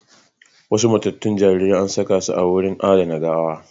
Wasu matattun jaririrai anasakasu a wurin adana gawa